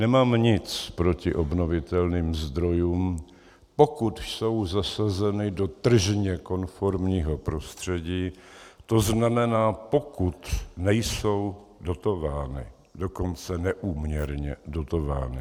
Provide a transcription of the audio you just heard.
Nemám nic proti obnovitelným zdrojům, pokud jsou zasazeny do tržně konformního prostředí, to znamená, pokud nejsou dotovány, dokonce neúměrně dotovány.